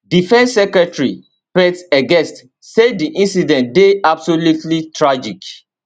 defence secretary pete hegesth say di incident deyabsolutely tragic